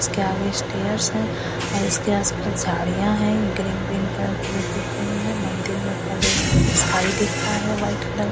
इसके आगे स्टेयर्स हैं और इसके आसपास झाड़ियां हैं ग्रीन ग्रीन कलर की जो दिख रही है मंदिर के ऊपर देख सकते हैं स्काई दिख रहा है वाइट कलर --